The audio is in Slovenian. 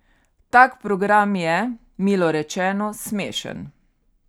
Tak program je, milo rečeno, smešen.